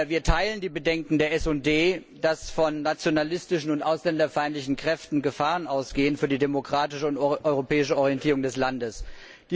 Wir teilen die Bedenken der SD Fraktion, dass von nationalistischen und ausländerfeindlichen Kräften Gefahren für die demokratische und europäische Orientierung des Landes ausgehen.